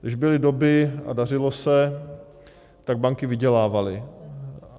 Když byly doby a dařilo se, tak banky vydělávaly.